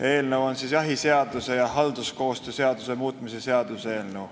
See on jahiseaduse ja halduskoostöö seaduse muutmise seaduse eelnõu.